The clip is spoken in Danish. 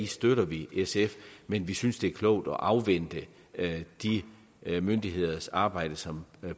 støtter vi sf i men vi synes det er klogt at afvente de myndigheders arbejde som